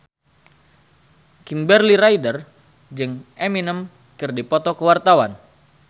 Kimberly Ryder jeung Eminem keur dipoto ku wartawan